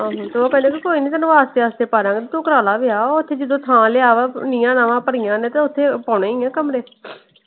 ਆਹੋ ਤੇ ਉਹ ਕਹਿੰਦੇ ਕੋਈ ਨੀ ਤੈਨੂੰ ਆਸਤੇ ਆਸਤੇ ਪਾ ਦਾ ਗੇਂ। ਤੂੰ ਕਰਾ ਲੈ ਵਿਆਹ। ਓਥੇ ਜਦੋਂ ਥਾਂ ਲਿਆ ਵਾ ਨਿਆਂ ਨਵਾਂ ਭਰੀਆਂ ਨੇ ਤੇ ਓਥੇ ਪਾਉਣੇ ਹੀ ਆ ਕਮਰੇ।